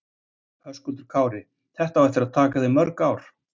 Höskuldur Kári: Þetta á eftir að taka þig mörg mörg ár?